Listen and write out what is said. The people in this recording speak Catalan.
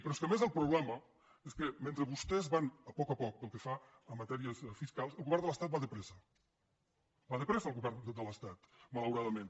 però és que a més el problema és que mentre vostès van a poc a poc pel que fa a matèries fiscals el govern de l’estat va de pressa va de pressa el govern de l’estat malauradament